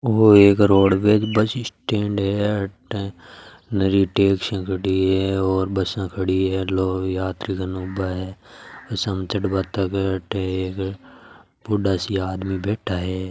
वो एक roadways bus stand हैं घणी टैक्सियां खड़ी है बसा खड़ी है लोग यात्रीगण आव है। बूढ़ा सा आदमी बैठा है।